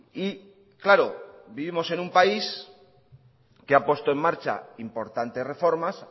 y claro vivimos en un país que ha puesto en marcha importantes reformas